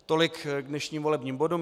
Tolik k dnešním volebním bodům.